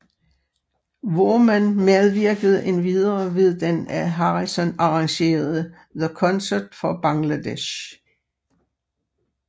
Voorman medvirkede endvidere ved den af Harrison arrangerede The Concert for Bangladesh